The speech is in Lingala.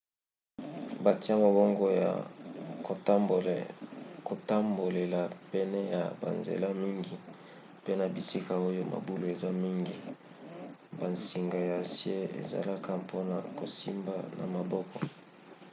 batia mabongo ya kotambolela pene ya banzela mingi mpe na bisika oyo mabulu eza mingi bansinga ya acier ezalaka mpona kosimba na maboko